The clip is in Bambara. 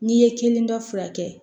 N'i ye kelen dɔ furakɛ